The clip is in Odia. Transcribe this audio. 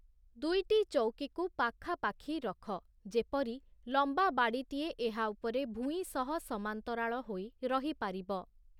ଦୁଇଟି ଚଉକିକୁ ପଖାପାଖି ରଖ, ଯେପରି ଲମ୍ବା ବାଡି଼ଟିଏ ଏହା ଉପରେ ଭୂଇଁ ସହ ସମାନ୍ତରାଳ ହୋଇ ରହିପାରିବ ।